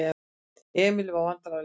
Emil varð vandræðalegur.